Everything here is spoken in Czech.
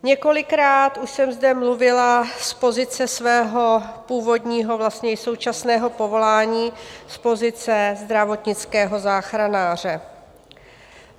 Několikrát už jsem zde mluvila z pozice svého původního, vlastně i současného povolání, z pozice zdravotnického záchranáře.